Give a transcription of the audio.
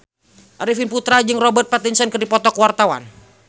Arifin Putra jeung Robert Pattinson keur dipoto ku wartawan